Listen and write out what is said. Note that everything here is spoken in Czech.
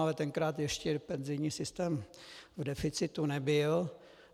Ale tenkrát ještě penzijní systém v deficitu nebyl.